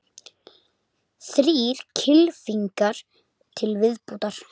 Þrír kylfingar til viðbótar